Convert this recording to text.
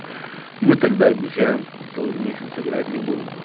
мы тогда обещаем что целый месяц играть не будем